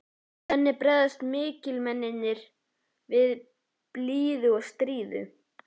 Þannig bregðast mikilmennin við blíðu og stríðu.